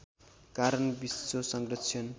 कारण विश्व संरक्षण